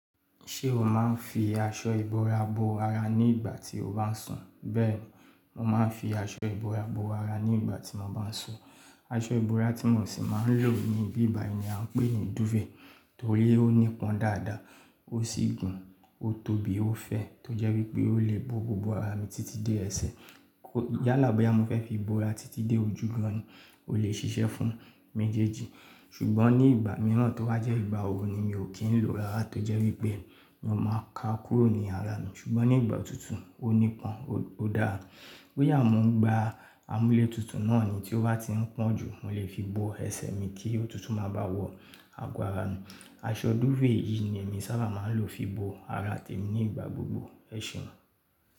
Ṣé o máa ń fi aṣọ ìbora bo ara ní ìgbà tí o bá ń sùn? Bẹ́ẹ̀ni, mo máa ń fi aṣọ ìbora bo ara ní ìgbà tí mo bá ń sùn. Aṣọ ìbora tí mòsì máa ń lò ní ibí bàyi ni à ń pè é dúfèé torí ó nípọn dáadáa, ó sì gùn, ó tóbí ó fẹ́ tó jẹ́ wípé ó lè bo gbogbo ara mi títí dé ẹ̀sẹ̀. Kó yálà bá yá mo fẹ́ fi bo ara títí dé ojú gan-an, ó lè ṣiṣẹ́ fún mi jẹ́ẹ́ji. Ṣùgbọ́n ní ìgbà mìíràn tó wá jẹ́ ìgbà oòrùn ni mi ò kí ń lò ó dáadáa torí pé mi ò máa ka kúrò ní ara mi. Ṣùgbọ́n ní ìgbà òtútù, ó nípọn ó dára. Bòyà mo ń gba amúlẹ́tutù náà ni tí ó bá ti ń pọ́ jù, mo lè fi bo ẹsẹ̀ mi kí òtútù máa ba wọ̀ àgọ́ ara mi. Aṣọ dúfèé yìí ni èmi sábà máa ń lò fi bo ara tèmi ní ìgbà gbogbo. Ẹ̀ṣèùn.